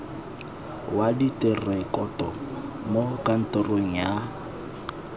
wa direkoto mo kantorong ya